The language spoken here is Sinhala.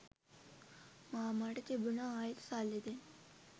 මාමා ට තිබුණා ආයෙත් සල්ලි දෙන්න.